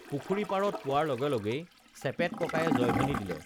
পুখুৰী পাৰত পোৱাৰ লগে লগেই চেপেত ককায়ে জয়ধ্বনি দিলে